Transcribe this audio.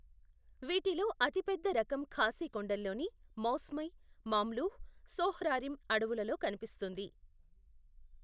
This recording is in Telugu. వీటిలో అతిపెద్ద రకం ఖాసీ కొండల్లోని మౌస్మై, మామ్లుహ్, సోహ్రారిమ్ అడవులలో కనిపిస్తుంది.